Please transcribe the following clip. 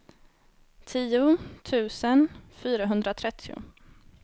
tio tusen fyrahundratrettio